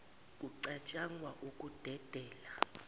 kucat shangwa ukudedela